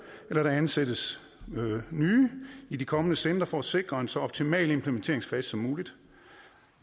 eller at der ansættes nye i de kommende centre for at sikre en så optimal implementeringsfase som muligt